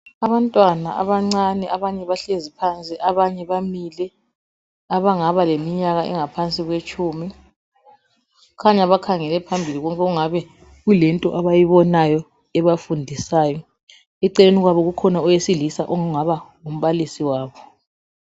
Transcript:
Abantwana abancane abanye bahlezi phansi abanye bamile abangaba leminyaka engaphansi kwetshumi. Kukhanya bakhangele phambili lapho okungabe kulento abayibonayo ebafundisayo. Eceleni kwabo kukhona owesilisa ongaba ngumbalisi wabo